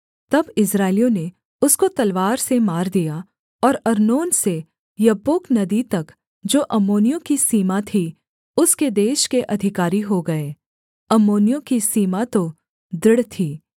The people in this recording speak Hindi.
तब इस्राएलियों ने उसको तलवार से मार दिया और अर्नोन से यब्बोक नदी तक जो अम्मोनियों की सीमा थी उसके देश के अधिकारी हो गए अम्मोनियों की सीमा तो दृढ़ थी